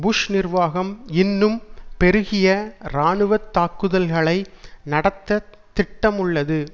push நிர்வாகம் இன்னும் பெருகிய இராணுவ தாக்குதல்களை நடத்த திட்டமுள்ளது